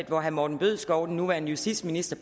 hvor herre morten bødskov den nuværende justitsminister